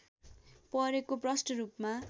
परेको प्रष्ट रूपमा